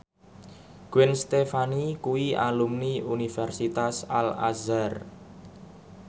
Gwen Stefani kuwi alumni Universitas Al Azhar